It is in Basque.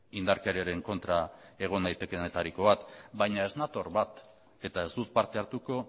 indarkeriaren kontra egon naitekeenetariko bat baina ez nator bat eta ez dut parte hartuko